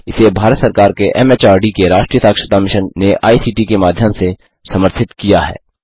इसे भारत सरकार के एमएचआरडी के राष्ट्रीय साक्षरता मिशन ने आई सीटी के माध्यम से समर्थित किया है